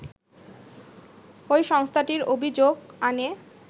ওই সংস্থাটির অভিযোগ আনে